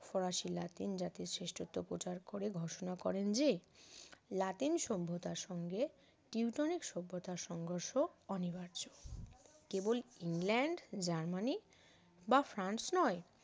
ফরাসি লাতিন জাতির শ্রেষ্ঠত্ব প্রকাশ করে ঘোষণা করেন যে লাতিন সভ্যতার সঙ্গে টিউটনিক সভ্যতার সংঘর্ষ অনিবার্য কেবল ইংল্যান্ড জার্মানি বা ফ্রান্স নয়